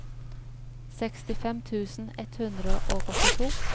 sekstifem tusen ett hundre og åttito